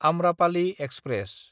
Amrapali express